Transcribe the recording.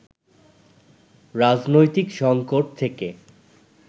রাজনৈতিক সঙ্কট থেকে